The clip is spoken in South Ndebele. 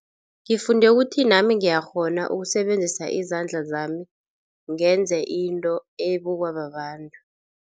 Ngifunde ukuthi nami ngiyakghona ukusebenzisa izandla zami ngenze into ebukwa babantu.